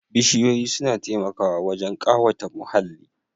Bishiyoyi suna taimakawa wajen ƙawata muhalli